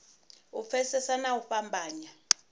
u pfesesa na u fhambanya